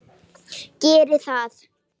Geri það.